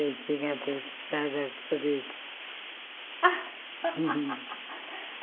Eu tinha preparado a cabeça.